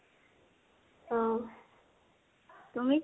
অহ